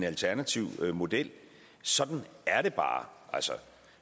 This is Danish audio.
alternativ model sådan er det bare